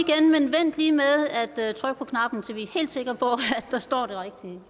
vent lige med at trykke på knappen til vi er helt sikre på at der står det rigtige